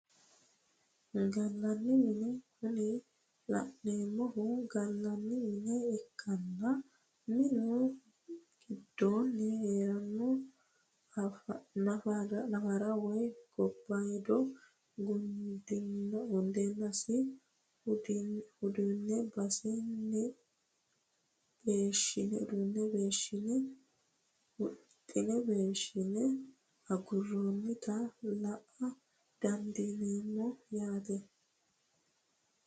gallanni mine kuni la'neemohu gallanni mine ikkanna minu gidooni heereenna nafara woyi gobaayiido gudinse hudhine beeshine aguroonita la"a dandiineemo yaate.